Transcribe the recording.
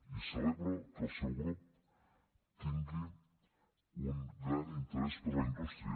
i celebro que el seu grup tingui un gran interès per la indústria